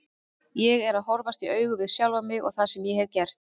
Ég er að horfast í augu við sjálfan mig og það sem ég hef gert.